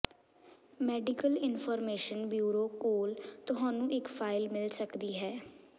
medical information bureau ਕੋਲ ਤੁਹਾਨੂੰ ਇੱਕ ਫਾਈਲ ਮਿਲ ਸਕਦੀ ਹੈ